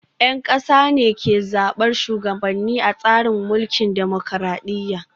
Yan kasa ne ke zabar shugabanni a tsarin mulkin dimokuradiyya